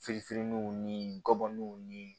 Firininw ni gɔbɔniw nii